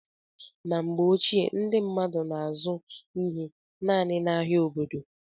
Na mgbe ochie, ndị mmadụ na-azụ ihe naanị n'ahia obodo.